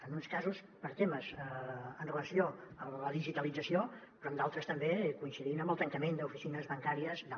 en uns casos per temes amb relació a la digitalització però en d’altres també coincidint amb el tancament d’oficines bancà·ries i tal